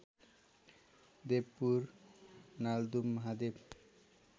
Devpur Naldum Mahadev